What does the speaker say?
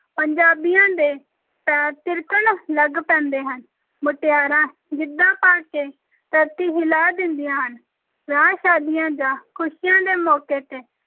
ਪੰਜਾਬੀਆਂ ਦੇ ਪੈਰ ਥਿਰਕਣ ਲੱਗ ਪੈਂਦੇ ਹਨ, ਮੁਟਿਆਰਾਂ ਗਿੱਧਾ ਪਾ ਕੇ ਧਰਤੀ ਹਿਲਾ ਦਿੰਦੀਆਂ ਹਨ, ਵਿਆਹ-ਸ਼ਾਦੀਆਂ ਜਾਂ ਖ਼ੁਸ਼ੀਆਂ ਦੇ ਮੌਕੇ ‘ਤੇ